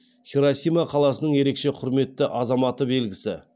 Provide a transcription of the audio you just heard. хиросима қаласының ерекше құрметті азаматы белгісі